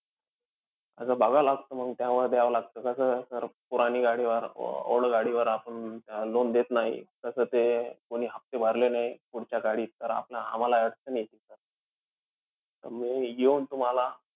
तस बगावं लागतं, मंग त्यामध्ये द्यावं लागतं. कसंय sir ते पुरानी गाडीवर, old गाडीवर वर आपण loan देत नाही. कसं ते कोणी हफ्ते भरले नाही पुढच्या गाडीचे तर, आम्हाला अडचण येती sir. तर मी येऊन तुम्हाला